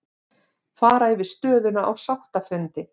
Fara yfir stöðuna á sáttafundi